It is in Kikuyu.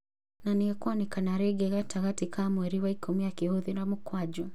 Na nĩekwonekana rĩngĩ gatagatĩ ka mweri wa ikũmi akihũthĩta mũkwanjũ